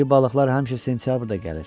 İri balıqlar həmişə sentyabrda gəlir.